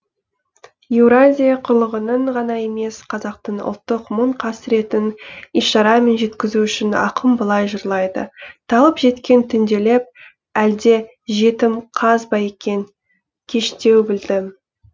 еуразия құрлығының ғана емес қазақтың ұлттық мұң қасіретін ишарамен жеткізу үшін ақын былай жырлайды талып жеткен түнделеп әлде жетім қаз ба екен кештеу білдім